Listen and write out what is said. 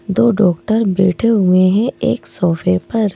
दो डॉक्टर बैठे हुए हैं एक सोफे पर।